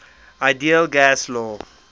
ideal gas law